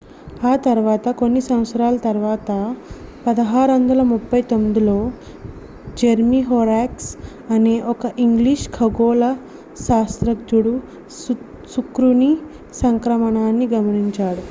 ఆ తర్వాత కొన్ని సంవత్సరాల తర్వాత 1639లో జెర్మీహోరాక్స్ అనే ఒక ఇంగ్లీషు ఖగోళ శాస్త్రజ్ఞుడు శుక్రుని సంక్రమణాన్ని గమనించారు